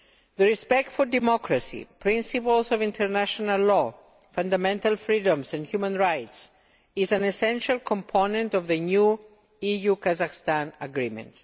The respect for democracy, the principles of international law, fundamental freedoms and human rights is an essential component of the new EU Kazakhstan agreement.